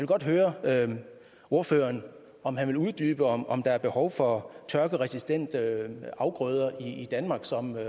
godt høre ordføreren om han vil uddybe om om der er behov for tørkeresistente afgrøder i danmark som